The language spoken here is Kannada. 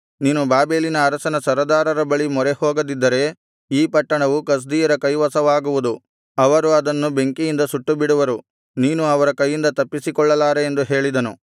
ನೀನು ಬಾಬೆಲಿನ ಅರಸನ ಸರದಾರರ ಬಳಿ ಮೊರೆಹೋಗದಿದ್ದರೆ ಈ ಪಟ್ಟಣವು ಕಸ್ದೀಯರ ಕೈವಶವಾಗುವುದು ಅವರು ಅದನ್ನು ಬೆಂಕಿಯಿಂದ ಸುಟ್ಟು ಬಿಡುವರು ನೀನು ಅವರ ಕೈಯಿಂದ ತಪ್ಪಿಸಿಕೊಳ್ಳಲಾರೆ ಎಂದು ಹೇಳಿದನು